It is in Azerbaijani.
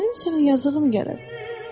Mənim sənə yazığım gəlir.